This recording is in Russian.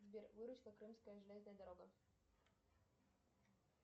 сбер крымская железная дорога